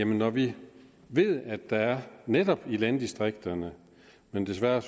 når vi ved at der netop i landdistrikterne men desværre